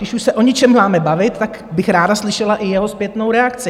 Když už se o něčem máme bavit, tak bych ráda slyšela i jeho zpětnou reakci.